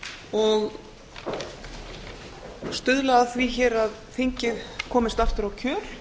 og stuðla hér að því að þingið komist aftur á réttan kjöl